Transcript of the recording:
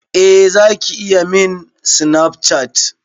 Eh Zaki iya min Snapchat.